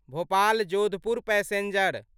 Bhopal Jodhpur passenger